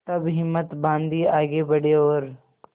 तब हिम्मत बॉँधी आगे बड़े और